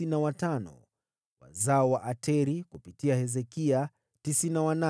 wazao wa Ateri (kupitia Hezekia) 98